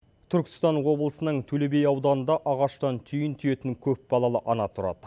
түркістан облысының төле би ауданында ағаштан түйін түйетін көпбалалы ана тұрады